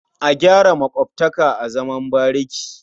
A gyara maƙotaka a zaman bariki.